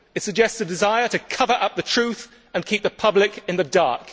It suggests a desire to cover up the truth and keep the public in the dark.